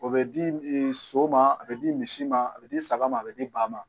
O bɛ di so ma a be di misi ma a be di saga ma, a be di ba ma